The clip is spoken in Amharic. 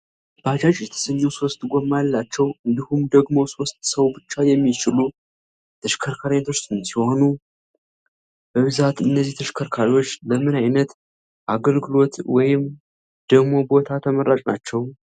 ባጃጅ የተሰኘው ሶስት ጎማ ያላቸው እንዲሁም ደግሞ ሶስት ሰው ብቻ የሚችሉ የተሸከርካሪ አይነቶች ሲሆኑ። በብዛት እነዚህ ተሽከርካሪዎች ለምን ዐይነት አገልግሎት ወይም ደሞ ቦታ ተመራጭ ናቸው?